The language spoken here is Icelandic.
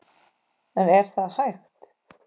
En er það hægt?